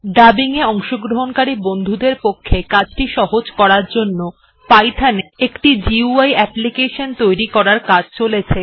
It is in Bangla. dubbing এ অংশগ্রহণকারী বন্ধুদের পক্ষে কাজটি সহজতর করার জন্য Python এ একটি গুই অ্যাপলিকেশন তৈরি করার কাজ চলছে